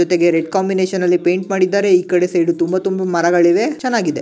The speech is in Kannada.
ಜೊತೆಗೆ ರೆಡ್ ಕಾಂಬಿನೇಷನ್ ನಲ್ಲಿ ಪೇಂಟ್ ಮಾಡಿದ್ದಾರೆ ಈ ಸೈಡಿಗೆ ತುಂಬಾ ತುಂಬಾ ಮರಗಳಿವೆ ಚನ್ನಾಗಿದೆ.